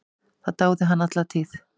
Það dáði hann alla tíð.